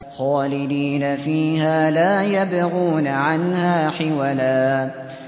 خَالِدِينَ فِيهَا لَا يَبْغُونَ عَنْهَا حِوَلًا